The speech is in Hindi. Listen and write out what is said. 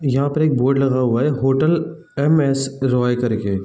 यहां पर एक बोर्ड लगा हुआ है होटल एम.एस. रॉय करके।